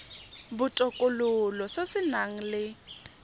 botokololo se se nang le